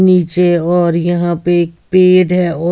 नीचे और यहाँ पे एक पेड़ है--